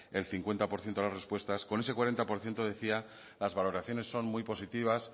el cincuenta por ciento de las respuestas con ese cuarenta por ciento decía las valoraciones son muy positivas